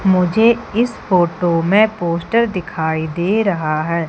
मुझे इस फोटो में पोस्टर दिखाई दे रहा है।